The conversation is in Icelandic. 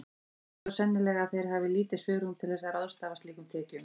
Flestum finnst þó sennilega að þeir hafi lítið svigrúm til að ráðstafa slíkum tekjum.